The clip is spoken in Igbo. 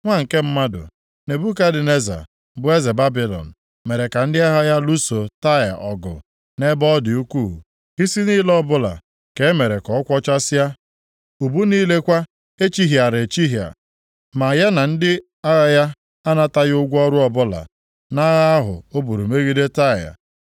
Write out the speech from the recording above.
“Nwa nke mmadụ, Nebukadneza bụ eze Babilọn mere ka ndị agha ya lụsoo Taịa ọgụ nʼebe ọ dị ukwuu. Isi niile ọbụla ka e mere ka ọ kwọchasịa, ubu niile kwa echihịara echihịa. Ma ya na ndị agha ya anataghị ụgwọ ọrụ ọbụla, nʼagha ahụ o buru megide Taịa.